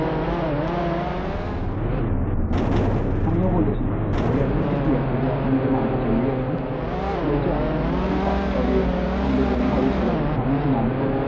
আমিও বলেছি guarantee কী আছে যে আপনি যে মালটা চলেই আসবে? বলছে আমাদের এরম ভাবেই কাজ চলে, আমাদের এরম ভাবেই সব ব্যাবস্থা । আমি বলেছি না আমি করবো না।